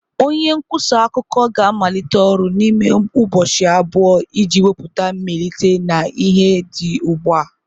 Onye nkwusa akụkọ ga-amalite ọrụ n'ime ụbọchị abụọ iji wepụta mmelite na ihe dị ugbu a.